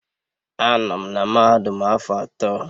Anọ m na mahadum a afọ atọ.